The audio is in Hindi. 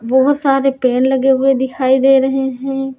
बोहोत सारे पेन लगे हुए दिखाई दे रहे हैं।